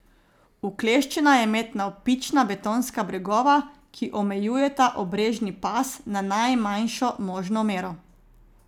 Ukleščena je med navpična betonska bregova, ki omejujeta obrežni pas na najmanjšo možno mero.